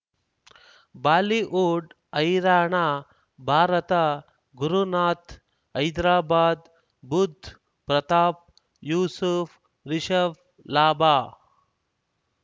Bollywood ಹೈರಾಣ ಭಾರತ ಗುರುನಾಥ್ ಹೈದರಾಬಾದ್ ಬುಧ್ ಪ್ರತಾಪ್ ಯೂಸುಫ್ ರಿಷಬ್ ಲಾಭ